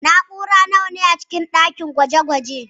Na'urori nawa ne a cikin ɗakin gwaje-gwajen